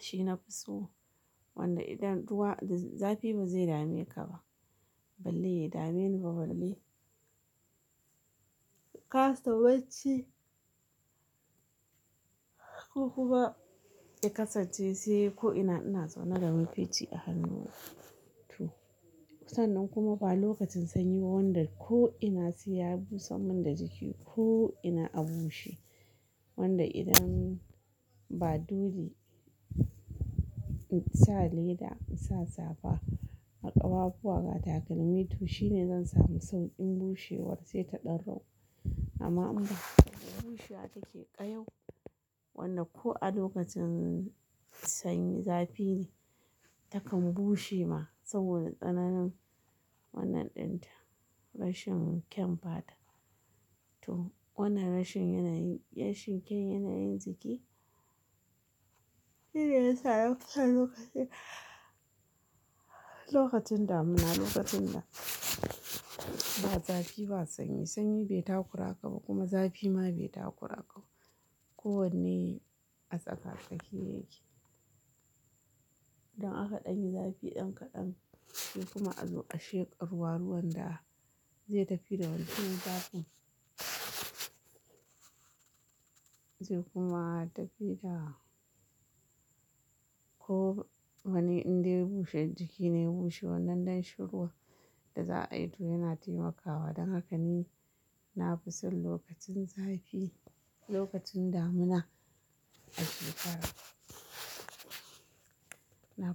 Shi nafi so. Wanda idan ruwa-- zafi ba zai dame ka ba, balle ya dame ni ba balle. Kasa bacci ko kuma i kasance sai ko ina ina zaune da mafici a hannuna. To, sannan kuma ba lokacin sanyi ba wanda ko ina sai ya busan man da jiki ko ina a bushe. Wanda idan ba dole in sa leda in sa safa a ƙafafuwa ba takalmi to shine zan samu sauƙin bushewar sai ta ɗan ragu. Amma ina bushewa take ƙayaw. Wannan ko a lokacin sanyi zafi ne ta kan bushe ma saboda tsananin wannan ɗinta rashin kyan fata. To wannan rashin yanayin shan kyan yanayin jiki shine ya sa yau aka yi lokacin, lokacin damuna lokacin da ba zafi ba sanyi. Sanyi bai takura ka ba kuma zafi ma bai takura ka ba. Ko wanne a tsaka-tsaki yake. Don aka ɗanyi zafi ɗan kaɗan shi kuma a zo a sheƙa ruwa, ruwan da zai tafi da wancan zafin. Zai kuma tafi da ko wani inda ya bushe jiki ne bushe wannan don shan ruwa da za a yi to yana taimakawa. Don haka ni na fi son lokacin zafi, lokacin damuna a shekara. Naf.